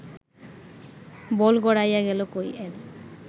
বল গড়াইয়া গেল কই-এর